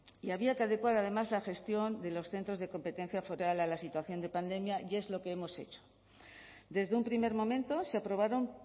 y había que adecuar además la gestión de los centros de competencia foral a la situación de pandemia y es lo que hemos hecho desde un primer momento se aprobaron